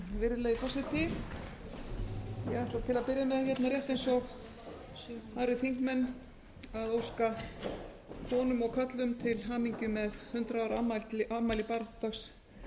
byrja með rétt eins og aðrir þingmenn að óska konum og körlum til hamingju með hundrað ára afmæli baráttudags